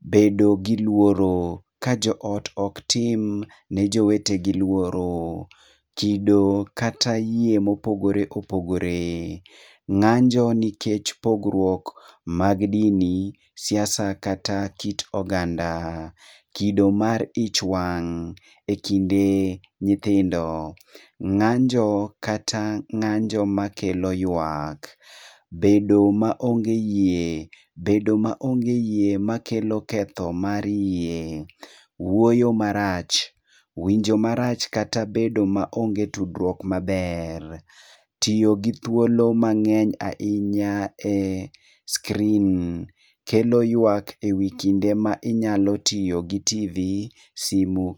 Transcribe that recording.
Bedo gi luoro, ka jo ot oktim ne jowete gi lworo. Chido kata yie mopogore opogore. Ng'anjo nikech pogruok mag dini, siasa kata kit oganda. Kido mar ich wang' e kinde nyithindo. Ng'anjo kata ng'anjo makelo yuak. Bedo ma onge yie, bedo maonge yie makelo ketho mar yie. Wuoyo marach. Winjo marach kata bedo ma onge tudruok maber. Tiyo gi thuolo mang'eny ahinya e screen kelo yuak e wi kinde ma inyalo tiyo gi TV, simu.